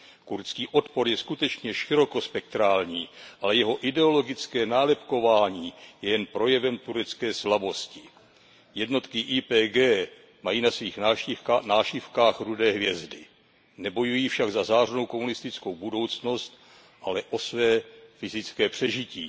Kurdský odpor je skutečně širokospektrální, ale jeho ideologické nálepkování je jen projevem turecké slabosti. Jednotky YPG mají na svých nášivkách rudé hvězdy, nebojují však za zářnou komunistickou budoucnost, ale o své fyzické přežití.